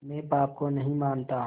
मैं पाप को नहीं मानता